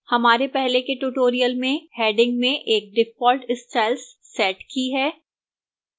हमारे पहले के tutorial में headings में एक default styles set की है